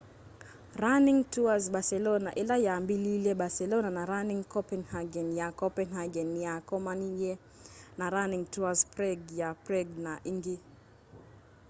running tours barcelona ila yambiliilye barcelona na running copenhagen ya copenhagen ni yakomanie na running tours prague ya prague na ingi